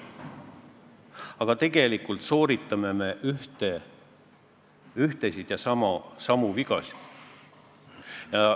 Aga tegelikult sooritame me ühtesid ja samu vigasid.